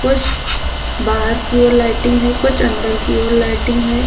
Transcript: कुछ बाहर की ओर लाइटिंग है कुछ अंदर की ओर लाइटिंग है।